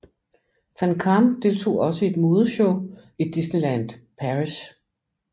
Van Kaam deltog også i et modeshow i Disneyland Paris